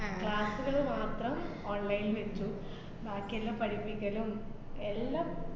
class സ്സുകള് മാത്രം online ല്‍ വെച്ചു. ബാക്കി എല്ലാം പഠിപ്പിക്കലും എല്ലാം